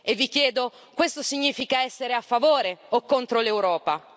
Vi chiedo, questo significa essere a favore o contro l'Europa?